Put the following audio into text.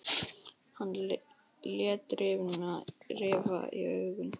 Hann lét rifa í augun.